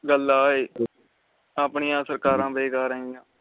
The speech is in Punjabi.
ਗਲ ਆ ਏ ਆਪਣੀਆਂ ਸਰਕਾਰ ਬੇਕਾਰ ਏ